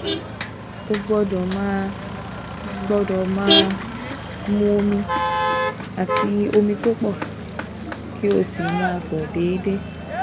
O gbọ́dọ̀ máa gbọ́dọ̀ máa mu omi àti omi tó pọ̀, kó o sì máa tọ̀ déédéé